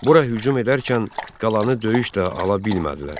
Bura hücum edərken qalanı döyüşlə ala bilmədilər.